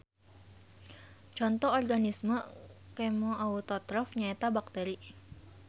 Conto Organisme Kemoautotrof nyaeta bakteri.